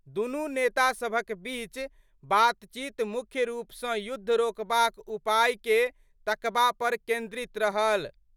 दुनू नेता सभक बीच बातचीत मुख्य रूप सं युद्ध रोकबाक उपाय के तकबा पर केन्द्रित रहल।